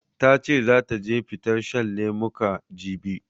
Ta ce zata je fitar shan lemuka, jibi.